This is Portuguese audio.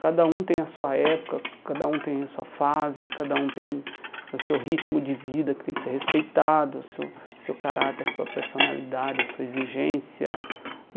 Cada um tem a sua época, cada um tem a sua fase, cada um tem o seu ritmo de vida que tem que ser respeitado, o seu seu caráter, a sua personalidade, a sua exigência.